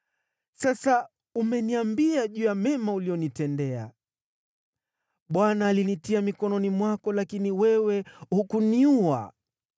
Sasa umeniambia juu ya mema uliyonitendea. Bwana alinitia mikononi mwako, lakini wewe hukuniua.